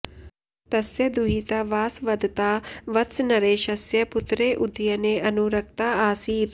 तस्य दुहिता वासवदत्ता वत्सनरेशस्य पुत्रे उदयने अनुरक्ता आसीत्